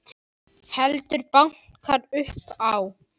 Heldur bankar upp á.